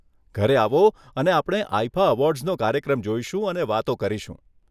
ઘરે આવો અને આપણે આઇફા એવોર્ડ્સનો કાર્યક્રમ જોઈશું અને વાતો કરીશું.